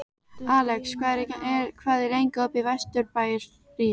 Alex, hvað er lengi opið í Vesturbæjarís?